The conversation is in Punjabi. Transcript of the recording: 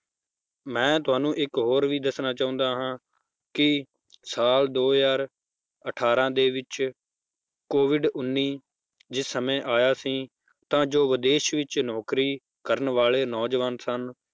ਮੈਂ ਤੁਹਾਨੂੰ ਇੱਕ ਹੋਰ ਵੀ ਦੱਸਣਾ ਚਾਹੁੰਦਾ ਹਾਂ ਕਿ ਸਾਲ ਦੋ ਹਜ਼ਾਰ ਅਠਾਰਾਂ ਦੇ ਵਿੱਚ COVID ਉੱਨੀ ਦੇ ਸਮੇਂ ਆਇਆ ਸੀ ਜੋ ਵਿਦੇਸ਼ ਵਿੱਚ ਨੌਕਰੀ ਕਰਨ ਵਾਲੇ ਨੌਜਵਾਨ ਸਨ